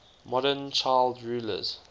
modern child rulers